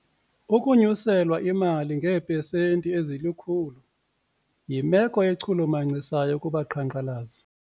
Ukunyuselwa imali ngeepesenti ezilikhulu yimelo echulumachisayo kubaqhankqalazi.